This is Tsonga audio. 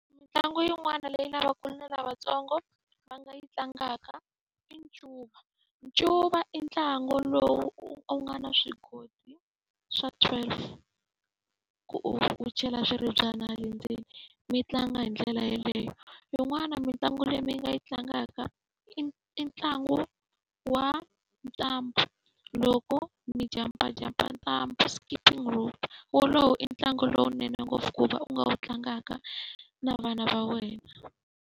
Mitlangu yin'wana leyi lavakulu na lavatsongo va nga yi tlangaka i ncuva. Ncuva i ntlangu lowu u nga na swigodigodi swa twelve, ku u u chela swiribyana le ndzeni mi tlanga hi ndlela yeleyo. Yin'wana mitlangu leyi mi nga yi tlangaka i i ntlangu wa ntambhu, loko mi jampajampa ntlangu, skipping rope. wolowo i ntlangu lowunene ngopfu ku va u nga wu tlangaka na vana va wena.